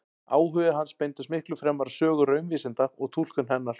Áhugi hans beindist miklu fremur að sögu raunvísinda og túlkun hennar.